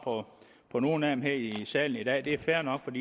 på nogen af dem her i salen i dag det er fair nok